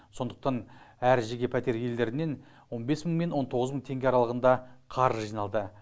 сондықтан әр жеке пәтер елдерінен он бес мың мен он тоғыз мың теңге аралығында қаржы жиналды